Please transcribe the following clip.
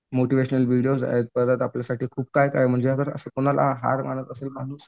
motivational videos आहेत परत आपल्यासाठी काय म्हणजे समजा आता हार मनात असेल माणूस